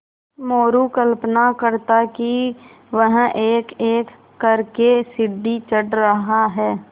मोरू कल्पना करता कि वह एकएक कर के सीढ़ी चढ़ रहा है